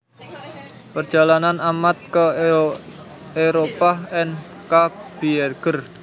Perjalanan Ahmad ke Éropah N K Bieger